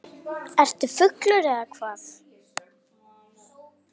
Ertu fullur eða hvað?